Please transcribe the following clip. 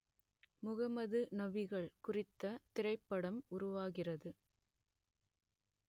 முகமது நபிகள் குறித்த திரைப்படம் உருவாகிறது